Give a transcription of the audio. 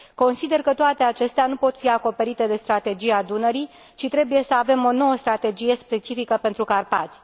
Consider că toate acestea nu pot fi acoperite de Strategia Dunării, ci trebuie să avem o nouă strategie specifică pentru Carpați.